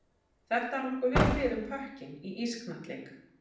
Þetta á nokkuð vel við um pökkinn í ísknattleik.